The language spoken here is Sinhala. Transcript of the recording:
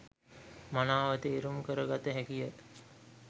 මනාව තේරුම් කර ගත හැකි ය.